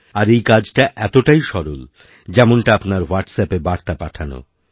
আর এই কাজটা এতটাই সরল যেমনটা আপনার হোয়াট্স অ্যাপেবার্তা পাঠানো